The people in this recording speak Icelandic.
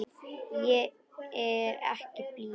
Ég er ekki blíð.